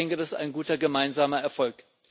Ich denke, das ist ein guter gemeinsamer Erfolg.